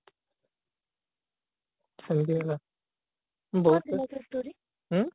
ସେମିତି ହେଲା ଉଁ